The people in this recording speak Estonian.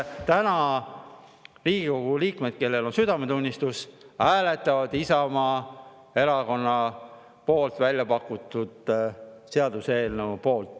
Loodan, et Riigikogu liikmed, kellel on südametunnistust, täna hääletavad Isamaa Erakonna väljapakutud seaduseelnõu poolt.